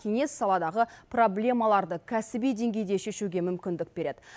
кеңес саладағы проблемаларды кәсіби деңгейде шешуге мүмкіндік береді